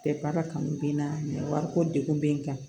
De baara kanu bɛ n na wariko degun bɛ n kan